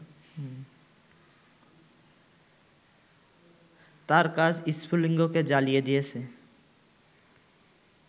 তাঁর কাজ স্ফুলিঙ্গকে জ্বালিয়ে দিয়েছে